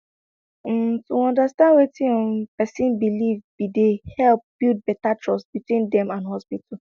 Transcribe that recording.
um to understand wetin um pesin believe be dey help build beta trust between dem and hospital